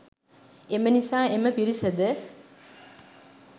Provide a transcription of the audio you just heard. එම නිසා එම පිරිසද